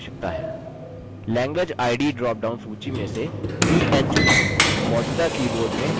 language id drop down सूची में से en चुनें